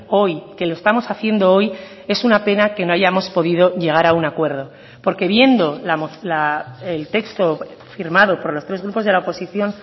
hoy que lo estamos haciendo hoy es una pena que no hayamos podido llegar a un acuerdo porque viendo el texto firmado por los tres grupos de la oposición